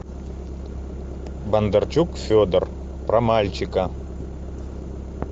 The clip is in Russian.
бондарчук федор про мальчика